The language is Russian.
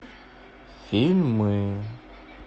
фильмы